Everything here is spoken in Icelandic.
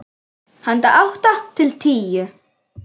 Handa átta til tíu